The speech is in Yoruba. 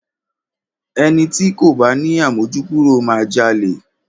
Ẹni ti kò bá ni àmójúkúrò máa jalè.